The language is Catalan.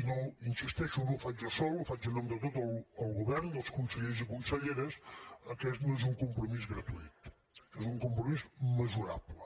i hi insisteixo no ho faig jo sol ho faig en nom de tot el govern dels consellers i conselleres aquest no és un compromís gratuït és un compromís mesurable